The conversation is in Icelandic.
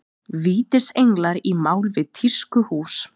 Vítisenglar í mál við tískuhús